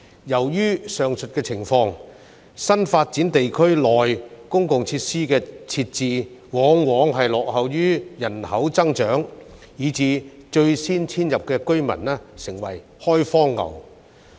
由於上述情況，新發展地區內公共設施的設置往往落後於人口增長，以致最先遷入的居民成為"開荒牛"。